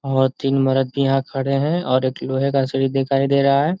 और तीन मर्द भी यहाँ खड़े हैं और एक लोहे का सीढ़ी दिखाई दे रहा है।